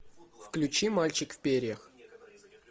включи мальчик в перьях